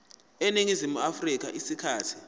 eningizimu afrika isikhathi